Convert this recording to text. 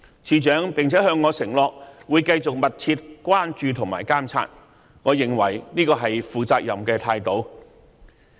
署長並向我承諾會繼續密切關注和監察，我認為這是負責任的態度。